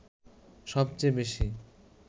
সবচেয়ে বেশি